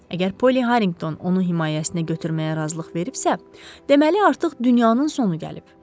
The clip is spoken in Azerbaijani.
Əgər Polly Harrington onu himayəsinə götürməyə razılıq veribsə, deməli artıq dünyanın sonu gəlib.